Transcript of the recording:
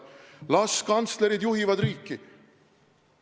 Las kantslerid juhivad riiki.